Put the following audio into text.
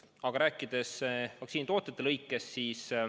Aga nüüd vaktsiinitootjate lõikes.